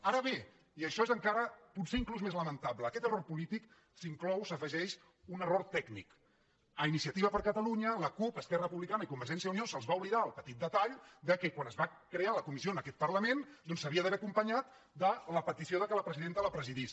ara bé i això és encara potser inclús més lamenta·ble a aquest error polític s’inclou s’hi afegeix un error tècnic a iniciativa per catalunya la cup esquerra republicana i convergència i unió se’ls va oblidar el petit detall que quan es va crear la comissió en aquest parlament doncs s’hauria d’haver acompanyat de la petició que la presidenta la presidís